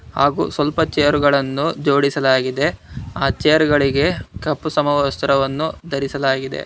ಹಾಗೂ ಸ್ವಲ್ಪ ಚೇರ್ ಗಳನ್ನು ಜೋಡಿಸಲಾಗಿದೆ ಆ ಚೇರ್ ಗಳಿಗೆ ಕಪ್ಪು ಸಮವಸ್ತ್ರವನ್ನು ಧರಿಸಲಾಗಿದೆ.